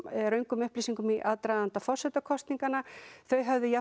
röngum upplýsingum í aðdraganda forsetakosninganna þau höfðu